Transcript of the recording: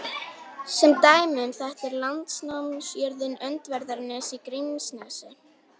Sem dæmi um þetta er landnámsjörðin Öndverðarnes í Grímsnesi.